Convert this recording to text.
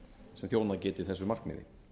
sem þjónað geti þessu markmiði